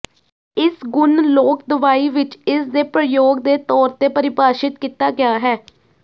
ਇਸ ਗੁਣ ਲੋਕ ਦਵਾਈ ਵਿੱਚ ਇਸ ਦੇ ਪ੍ਰਯੋਗ ਦੇ ਤੌਰ ਤੇ ਪਰਿਭਾਸ਼ਿਤ ਕੀਤਾ ਗਿਆ ਹੈ